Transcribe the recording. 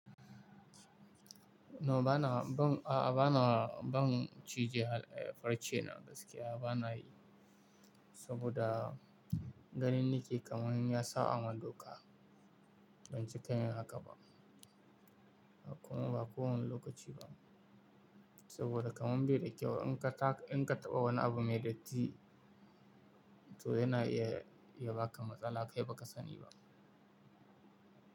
No bana, ban, a'a bana, ban cije farcena gaskiya bana yi saboda ganin ni ke kamun ya sa an ma doka. Ban ci ki yin haka ba kuma ba kowane lokaci ba saboda kamun ba dai kyau in ka, in ka taɓa wani abu mai datti to yana iya, iya baka matsala kai ba ka sani ba.